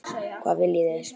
Hvað viljið þið!